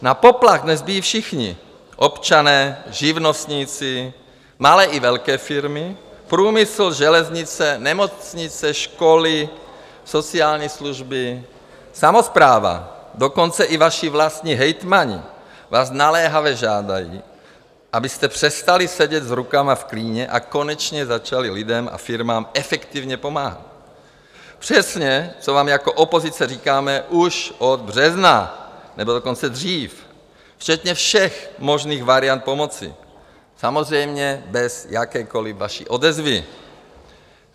Na poplach dnes bijí všichni - občané, živnostníci, malé i velké firmy, průmysl, železnice, nemocnice, školy, sociální služby, samospráva, dokonce i vaši vlastní hejtmani vás naléhavě žádají, abyste přestali sedět s rukama v klíně a konečně začali lidem a firmám efektivně pomáhat - přesně, co vám jako opozice říkáme už od března, nebo dokonce dřív, včetně všech možných variant pomoci - samozřejmě bez jakékoliv vaší odezvy.